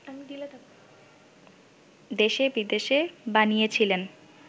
দেশে-বিদেশে বানিয়েছিলেন